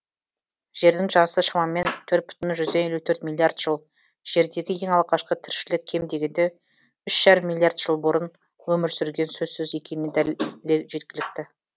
жердің жасы шамамен төрт бүтін жүзден елу төрт миллиард жыл жердегі ең алғашқы тіршілік кем дегенде үш бүтін оннан екі миллиард жыл бұрын өмір сүргені сөзсіз екеніне дәлел жеткілікті